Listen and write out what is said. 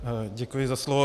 Děkuji za slovo.